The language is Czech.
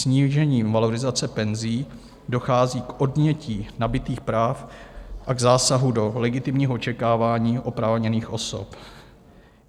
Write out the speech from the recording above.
Snížením valorizace penzí dochází k odnětí nabytých práv a k zásahu do legitimního očekávání oprávněných osob.